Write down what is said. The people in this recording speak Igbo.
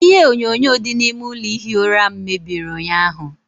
Ihe enyonyo dị n'ime ụlọ ihi ụra m mebiri ụnyaahụ.